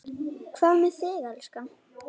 Hvað með þig, elskan.